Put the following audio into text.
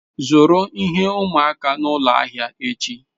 Zụrụ ihe ụmụaka n'ụlọ ahịa echi.